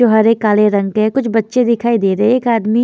जो हरे काले रंग के है कुछ बच्चे दिखाई दे रहे एक आदमी--